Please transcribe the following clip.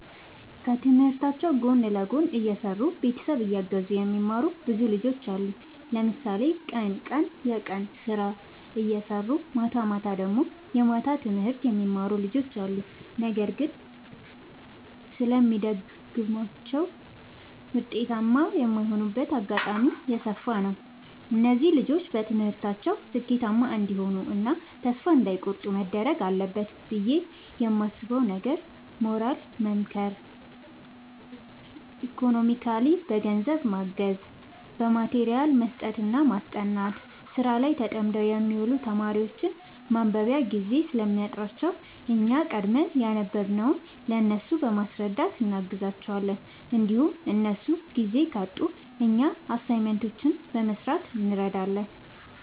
ከትምህርታቸው ጎን ለጎን እየሰሩ ቤተሰብ እያገዙ የሚማሩ ብዙ ልጆች አሉ። ለምሳሌ ቀን ቀን የቀን ስራ እየሰሩ ማታማታ ደግሞ የማታ ትምህርት የሚማሩ ልጆች አሉ። ነገር ግን ስለሚደግማቸው ውጤታማ የማይሆኑበት አጋጣሚ የሰፋ ነው። እነዚህ ልጆች በትምህርታቸው ስኬታማ እንዲሆኑ እና ተስፋ እንዳይ ቆርጡ መደረግ አለበት ብዬ የማስበው ነገር ሞራሊ መምከር ኢኮኖሚካሊ በገንዘብ ማገዝ በማቴሪያል መስጠትና ማስጠናት። ስራ ላይ ተጠምደው የሚውሉ ተማሪዎች ማንበቢያ ጊዜ ስለሚያጥራቸው እኛ ቀድመን ያነበብንውን ለእነሱ በማስረዳት እናግዛቸዋለን እንዲሁም እነሱ ጊዜ ካጡ እኛ አሳይመንቶችን በመስራት እንረዳዳለን